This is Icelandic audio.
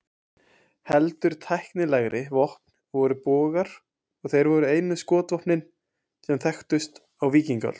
Heldur tæknilegri vopn voru bogar, og þeir voru einu skotvopnin sem þekktust á víkingaöld.